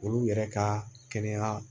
Olu yɛrɛ ka kɛnɛya